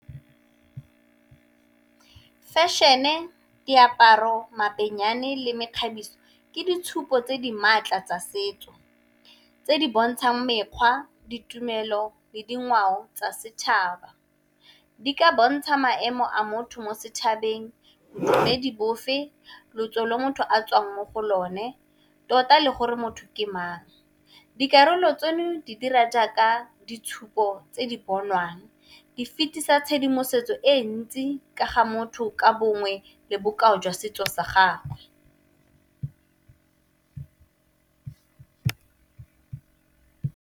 Fashion-e, diaparo, le mekgabiso ke ditshupo tse di maatla tsa setso tse di bontshang mekgwa, ditumelo, le dingwao tsa setšhaba. Di ka bontsha maemo a motho mo setšhabeng mme di bofe lotso le motho a tswang mo go lone, tota le gore motho ke mang. Dikarolo tseno di dira jaaka ditshupo tse di bonwang, di fetisa tshedimosetso e ntsi ka ga motho ka bongwe le bokao jwa setso sa gagwe.